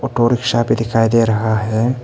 Auto rickshaw भी दिखाई दे रहा है।